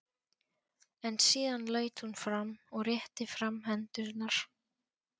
En síðan laut hún fram og rétti fram hendurnar.